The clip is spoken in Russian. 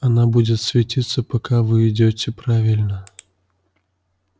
она будет светиться пока вы идёте правильно